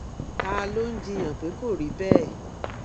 ta ló ń jiyàn pé kò rí bẹẹ